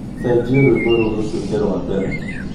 cenjia rwĩmbo rũũ rũtuĩke rwa mbere